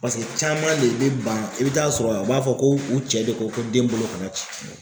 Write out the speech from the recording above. Paseke caman de bɛ ban i bi taa sɔrɔ u b'a fɔ ko u cɛ de ko ko den bolo kana ci.